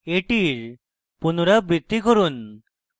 এটির পুনরাবৃত্তি করি